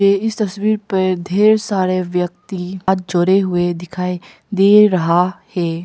इस तस्वीर पर ढेर सारे व्यक्ति हाथ जोड़े हुए दिखाई दे रहा है।